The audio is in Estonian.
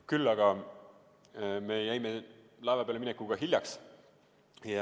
Küll aga me jäime laeva peale minekuga hiljaks.